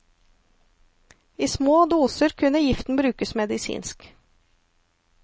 I små doser kunne giftene brukes medisinsk.